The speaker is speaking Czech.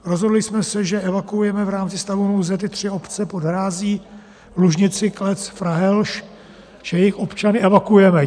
Rozhodli jsme se, že evakuujeme v rámci stavu nouze ty tři obce pod hrází - Lužnici, Klec, Frahelž, že jejich občany evakuujeme.